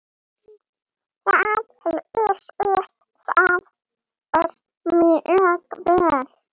Það lýsir þér mjög vel.